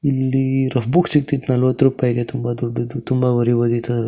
ಇಲ್ಲಿ rough book ಸಿಕ್ಕಿತು ನಲ್ವತ್ತು ರೂಪಾಯಿಗೆ ತುಂಬ ದೊಡ್ಡದು ತುಂಬ